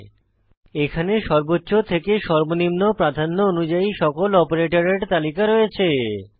এখানে এই স্লাইড সর্বোচ্চ থেকে সর্বনিম্ন প্রাধান্য অনুযায়ী সকল অপারেটরের তালিকা রয়েছে